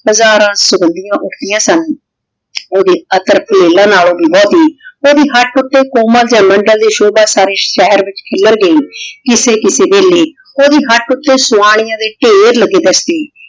ਹਜ਼ਾਰਾਂ ਸੋੰਦਿਯਾਂ ਉਠ੍ਦਿਯਾਂ ਸਨ ਓਡੀ ਅਤਰ ਤੇ ਫੁਲਾਂ ਨਾਲੋ ਵੀ ਬੋਹ੍ਤੀ ਓੜੀ ਹਕ ਊਟੀ ਕੋਮਲ ਜੇਯ ਮੰਡਲ ਦੀ ਸ਼ੋਭਾ ਸਾਰੇ ਸ਼ੇਹਰ ਵਿਚ ਖਿਲਾਰ ਗਈ ਕਿਸੇ ਕਿਸੇ ਵੀਲਾਯ ਓੜੀ ਹਕ਼ ਊਟੀ ਸਵਾਨਿਯਾਂ ਦੇ ਧੀਰ ਲਾਗੇ ਦਸਤੀ